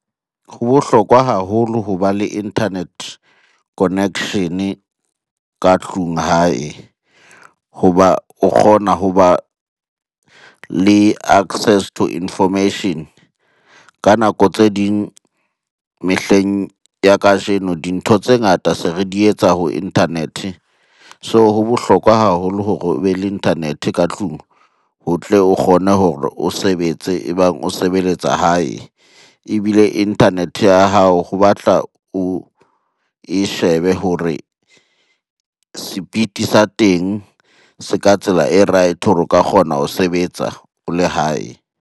Ho bohlokwa haholo ho ba le internet-e connection-e ka tlung hae hoba o kgona ho ba le access to information. Ka nako tse ding, mehleng ya kajeno dintho tse ngata se re di etsa ho internet-e. So, ho bohlokwa haholo hore o be le internet-e ka tlung ho tle o kgone hore o sebetse e bang o sebeletsa hae. Ebile internet-e ya hao ho batla oe shebe hore sepiti sa teng se ka tsela e right-e hore o ka kgona ho sebetsa o le hae.